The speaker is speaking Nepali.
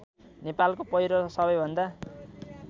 नेपालको पहिलो र सबैभन्दा